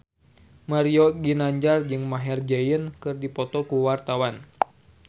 Mario Ginanjar jeung Maher Zein keur dipoto ku wartawan